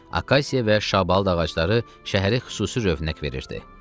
Akasiya və şabalıd ağacları şəhərə xüsusi rövnəq verirdi.